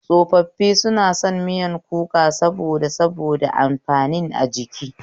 Tsofaffi suna son miyar kuka saboda saboda amfanin a jiki